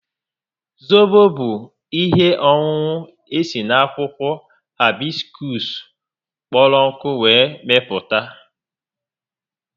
Zobo bụ ihe ọṅụṅụ esi n'akwụkwọ haibiskuus kpọrọ nkụ were mepụta